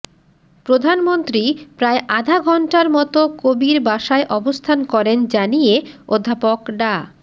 প্রধানমন্ত্রী প্রায় আধাঘণ্টার মতো কবির বাসায় অবস্থান করেন জানিয়ে অধ্যাপক ডা